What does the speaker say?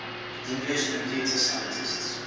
english computer scientists